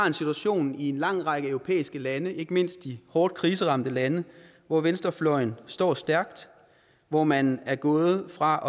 en situation i en lang række europæiske lande ikke mindst de hårdt kriseramte lande hvor venstrefløjen står stærkt hvor man er gået fra